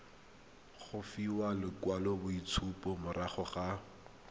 go fiwa lekwaloitshupo morago ga